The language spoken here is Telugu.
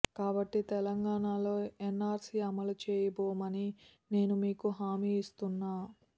కాబట్టి తెలంగాణలో ఎన్ఆర్సీ అమలుచేయబోమని నేను మీకు హామీ ఇస్తున్నా